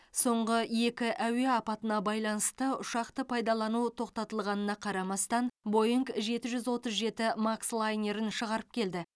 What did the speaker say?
соңғы екі әуе апатына байланысты ұшақты пайдалану тоқтатылғанына қарамастан бойңг жеті жүз отыз жеті макс лайнерін шығарып келді